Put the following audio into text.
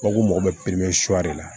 Mago mago bɛ de la